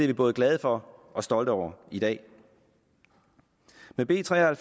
vi både glade for og stolte over i dag med b tre og